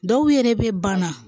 Dɔw yɛrɛ bɛ banna